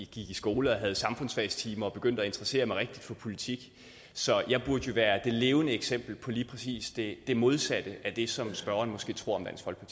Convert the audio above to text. gik i skole og havde samfundsfagstimer og begyndte at interessere mig rigtigt for politik så jeg burde jo være det levende eksempel på lige præcis det modsatte af det som spørgeren måske tror